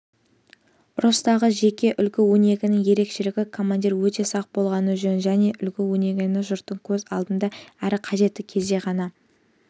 ұрыстағы жеке үлгі-өнегенің ерекшелігі командир өте сақ болғаны жөн және үлгі-өнегені жұрттың көз алдында әрі қажетті кезде ғана